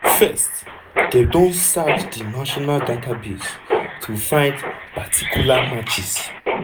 first dem don search di national database to find partial matches.